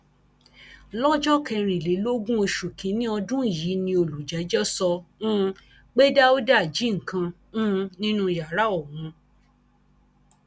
lọjọ kẹrìnlélógún oṣù kìnínní ọdún yìí ni olùjẹjọ sọ um pé dáúdà jí nǹkan um nínú yàrá òun